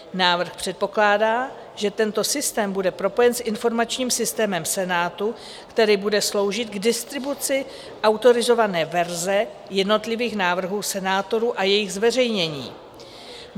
Návrh předpokládá, že tento systém bude propojen s informačním systémem Senátu, který bude sloužit k distribuci autorizované verze jednotlivých návrhů senátorů a jejich zveřejnění.